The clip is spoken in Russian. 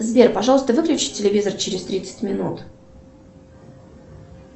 сбер пожалуйста выключи телевизор через тридцать минут